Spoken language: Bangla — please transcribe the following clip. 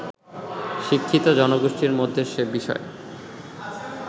শিক্ষিত জনগোষ্ঠীর মধ্যে সে বিষয়ে